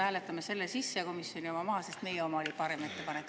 Hääletame ikkagi selle sisse ja komisjoni oma maha, sest meie oma oli parem ettepanek.